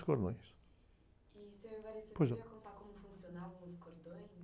cordões., seu ...ois não.ocê poderia contar como funcionavam os cordões?